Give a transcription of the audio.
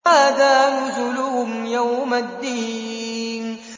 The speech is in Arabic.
هَٰذَا نُزُلُهُمْ يَوْمَ الدِّينِ